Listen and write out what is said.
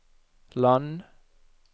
land